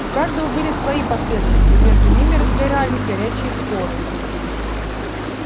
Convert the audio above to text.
у каждого были свои последователи и между ними разгорались горячие споры